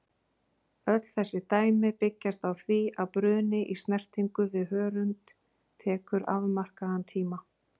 Öll þessi dæmi byggjast á því að bruni í snertingu við hörund tekur afmarkaðan tíma.